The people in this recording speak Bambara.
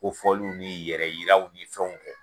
Kofɔliw ni yɛrɛ yiraw ni fɛnw kɛ.